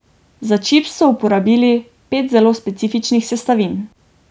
Za čips so uporabili pet zelo specifičnih sestavin.